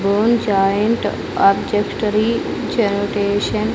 ఓం joint ఆబ్జెక్స్టరీ generation --